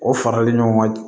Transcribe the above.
O farali ɲɔgɔn kan